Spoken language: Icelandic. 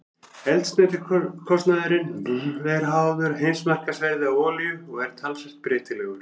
Eldsneytiskostnaður er háður heimsmarkaðsverði á olíu og er talsvert breytilegur.